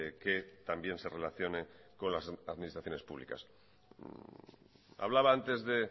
que también se relacione con las administraciones públicas hablaba antes de